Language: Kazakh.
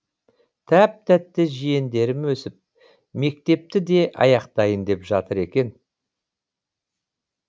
тәп тәтті жиендерім өсіп мектепті де аяқтайын деп жатыр екен